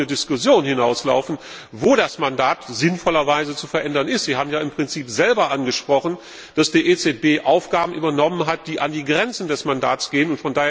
auf eine Diskussion hinauslaufen, wo das Mandat sinnvollerweise zu verändern ist. Sie haben ja im Prinzip selbst angesprochen, dass die EZB Aufgaben übernommen hat, die an die Grenzen des Mandats gehen.